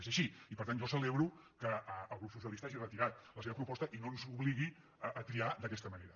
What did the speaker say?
és així i per tant jo celebro que el grup socialista hagi retirat la seva proposta i no ens obligui a triar d’aquesta manera